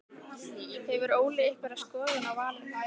Hefur Óli einhverja skoðun á valinu?